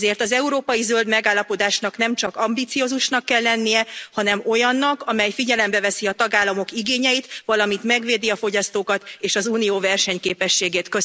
Ezért az európai zöld megállapodásnak nemcsak ambiciózusnak kell lennie, hanem olyannak, amely figyelembe veszi a tagállamok igényeit, valamint megvédi a fogyasztókat és az Unió versenyképességét.